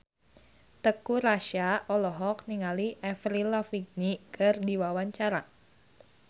Teuku Rassya olohok ningali Avril Lavigne keur diwawancara